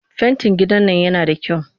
Fentin gidan nan yana da kyau